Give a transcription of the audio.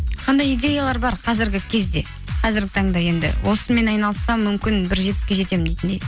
қандай идеялар бар қазіргі кезде қазіргі таңда енді осымен айналыссам мүмкін бір жетістікке жетемін дейтіндей